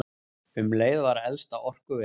Um leið var elsta orkuverið